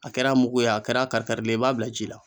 A kɛra mugu ye a kɛra kari karilen i b'a bila ji la.